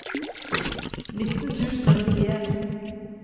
nitten tusen og nittien